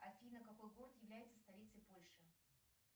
афина какой город является столицей польши